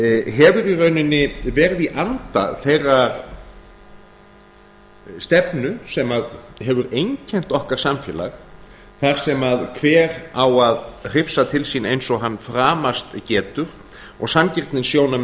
hefur í rauninni verið í anda þeirrar stefnu sem hefur einkennt okkar samfélag þar sem hver á að hrifsa til sín eins og hann framast getur og